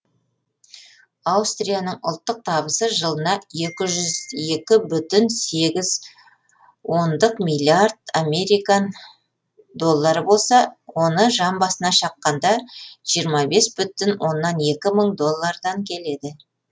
аустрияның ұлттық табысы жылына екі жүз екі бүтін сегіз ондық миллиард американ доллары болса оны жан басына шаққанда жиырма бес бүтін оннан екі мың долллардан келеді